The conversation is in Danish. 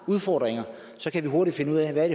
udfordringer kan vi hurtigt finde ud af hvad